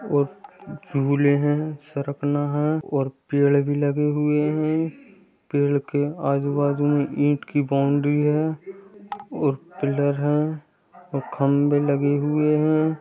और झूले हैं सरकना है और पेड़ भी लगे हुए हैं। पेड़ के आजू-बाजु में ईट की बाउंड्री है और पिलर है और खम्भे लगे हुए हैं।